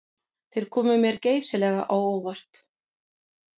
Þeir komu mér geysilega á óvart